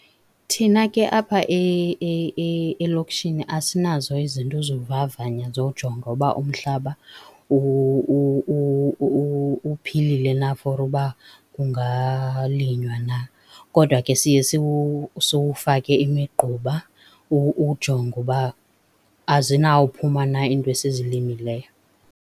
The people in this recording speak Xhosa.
Thina ke apha elokishini asinazo izinto zovavanya zowujonga uba umhlaba uphilile na for uba kungalinywa na. Kodwa ke siye siwufake imigquba ujonga uba azinawuphuma na iinto esizilimileyo.